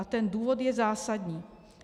A ten důvod je zásadní.